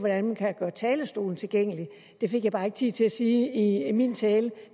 hvordan man kan gøre talerstolen tilgængelig det fik jeg bare ikke tid til at sige i i min tale